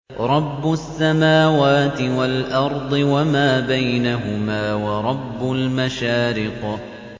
رَّبُّ السَّمَاوَاتِ وَالْأَرْضِ وَمَا بَيْنَهُمَا وَرَبُّ الْمَشَارِقِ